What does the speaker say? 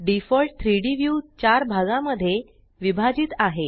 default 3Dव्यू 4 भागामध्ये विभाजित आहे